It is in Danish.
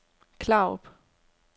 Klarup